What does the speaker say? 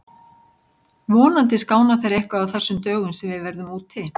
Vonandi skána þeir eitthvað á þessum dögum sem við verðum úti.